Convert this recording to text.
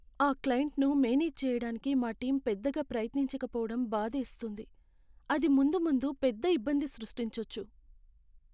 ఆ క్లయింట్ను మేనేజ్ చేయడానికి మా టీం పెద్దగా ప్రయత్నించకపోవడం బాధేస్తుంది, అది ముందు ముందు పెద్ద ఇబ్బంది సృష్టించొచ్చు.